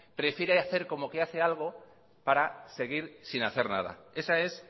prefiere hacer como que hace algo para seguir sin hacer nada esa es